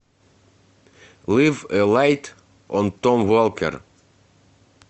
лив э лайт он том волкер